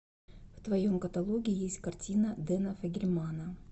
в твоем каталоге есть картина дэна фогельмана